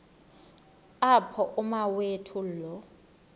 apho umawethu lo